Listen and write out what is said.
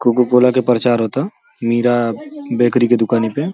Cocoa Cola का प्रचार होता मीरा बेकरी के दूकानी पे ।